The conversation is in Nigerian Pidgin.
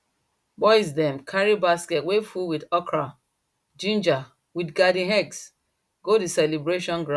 boys dem carry basket way full with okra ginger with garden eggs go the celebration ground